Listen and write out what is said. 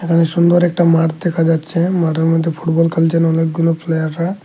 এখানে সুন্দর একটা মাঠ দেখা যাচ্ছে মাঠের মধ্যে ফুটবল খেলছেন অনেকগুলো প্লেয়াররা--